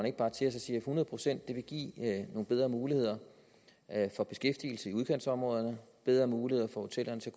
ikke bare til og siger at hundrede procent vil give nogle bedre muligheder for beskæftigelse i udkantsområderne bedre muligheder for hotellerne til